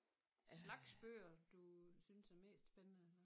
Slags bøger du synes er mest spændende